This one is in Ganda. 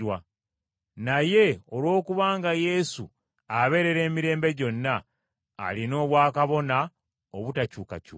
Naye olwokubanga Yesu abeerera emirembe gyonna, alina obwakabona obutakyukakyuka.